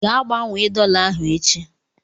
Gaa gbanwee dọla ahụ echi!